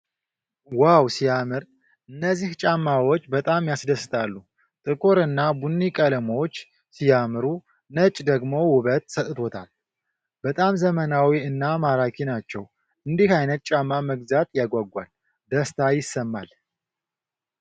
ዋው ሲያምር! እነዚህ ጫማዎች በጣም ያስደስታሉ። ጥቁር እና ቡኒ ቀለሞች ሲያምሩ፣ ነጩ ደግሞ ውበት ሰጥቶታል። በጣም ዘመናዊ እና ማራኪ ናቸው። እንዲህ አይነት ጫማ መግዛት ያጓጓል። ደስታ ይሰማል።